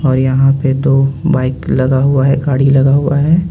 और यहां पे दो बाइक लगा हुआ है गाड़ी लगा हुआ है.